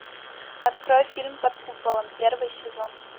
открой фильм под куполом первый сезон